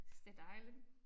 Synes det dejligt